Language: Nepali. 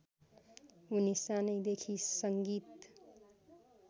उनि सानैदेखि सङ्गीत